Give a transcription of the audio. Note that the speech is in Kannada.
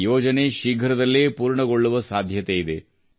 ಈ ಯೋಜನೆ ಶೀಘ್ರದಲ್ಲೇ ಪೂರ್ಣಗೊಳ್ಳುವ ಸಾಧ್ಯತೆಯಿದೆ